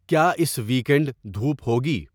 کیا اس ویکنڈ دھوپ ہوگی